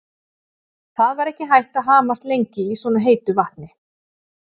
Það var ekki hægt að hamast lengi í svona heitu vatni.